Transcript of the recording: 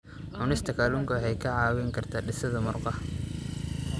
Cunista kalluunka waxay kaa caawin kartaa dhisidda murqaha.